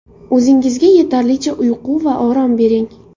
O‘zingizga yetarlicha uyqu va orom bering.